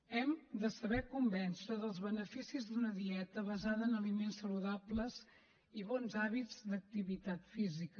hem de saber convèncer dels beneficis d’una dieta basada en aliments saludables i bons hàbits d’activitat física